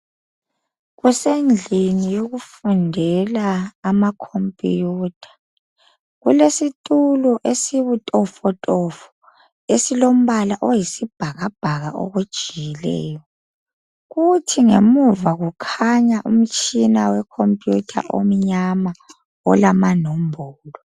Kusendlini yokufundela amakhomputha kulesitulo esibutofotofo esilombala oyisibhakabhaka okujiyileyo kuthi ngemuva kukhanya umtshina wekhomputha omnyama olamanombolo.